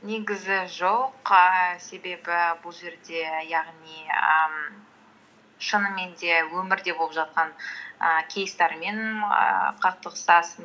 негізі жоқ ііі себебі бұл жерде яғни ііі шынымен де өмірде болып жатқан і кейстермен ііі қақтығысасың